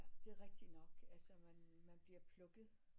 Det er rigtigt nok altså man man bliver plukket